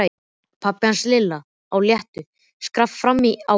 Pabbi hans og Lilla á léttu skrafi frammi á gangi.